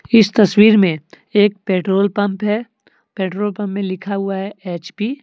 इस तस्वीर में एक पेट्रोल पंप है पेट्रोल पंप में लिखा हुआ है एच_पी ।